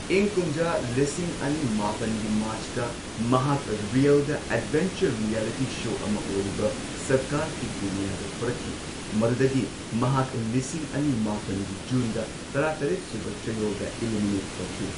ꯏꯪ ꯀꯨꯝꯖꯥ ꯂꯤꯁꯤꯡ ꯑꯅꯤ ꯃꯥꯄꯟꯒꯤ ꯃꯥꯔꯆꯇ ꯃꯍꯥꯛ ꯔꯤꯑꯦꯜꯗ ꯑꯦꯗꯚꯦꯟꯆꯔ ꯔꯤꯌꯦꯂꯤꯇꯤ ꯁꯣ ꯑꯃ ꯑꯣꯏꯔꯤꯕ ꯁꯔꯀꯥꯔ ꯀꯤ ꯗꯨꯅꯤꯌꯥꯗ ꯊꯣꯔꯛꯈꯤ, ꯃꯗꯨꯗꯒꯤ ꯃꯍꯥꯛ ꯂꯤꯁꯤꯡ ꯑꯅꯤ ꯃꯥꯄꯟꯒꯤ ꯖꯨꯟꯗ ꯇꯔꯥꯇꯔꯦꯠ ꯁꯨꯕ ꯆꯌꯣꯜꯗ ꯢꯂꯤꯃꯤꯅꯦꯠ ꯇꯧꯈꯤ꯫